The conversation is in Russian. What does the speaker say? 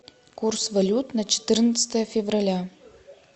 курс валют на четырнадцатое февраля